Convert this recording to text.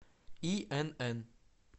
инн